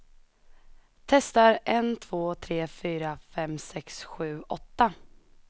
Testar en två tre fyra fem sex sju åtta.